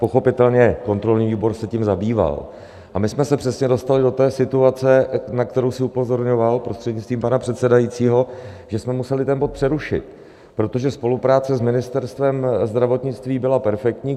Pochopitelně, kontrolní výbor se tím zabýval, a my jsme se přesně dostali do té situace, na kterou jsi upozorňoval, prostřednictvím pana předsedajícího, že jsme museli ten bod přerušit, protože spolupráce s Ministerstvem zdravotnictví byla perfektní.